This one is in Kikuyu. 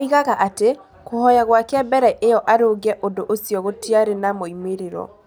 Oigaga atĩ, kũhoya gwake mbere ĩyo arũnge ũndũ ũcio gũtiarĩ na moimĩrĩro.